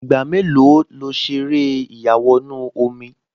Ìgbà mélòó lo ṣe eré ìyàwọnù-omi?